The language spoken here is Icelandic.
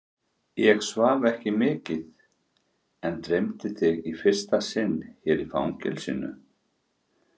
Ég svaf ekki mikið en dreymdi þig í fyrsta sinn hér í fangelsinu.